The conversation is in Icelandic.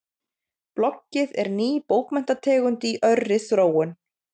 Bloggið er ný bókmenntategund í örri þróun.